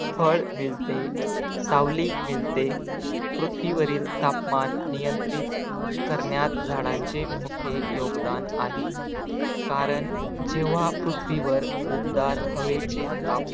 फळ मिळते, सावली मिळते पृथ्वीवरील तापमान नियंत्रित करण्यात झाडांचे मोठे योगदान आहे. कारण जेव्हा पृथ्वीवर उबदार हवेचे ताप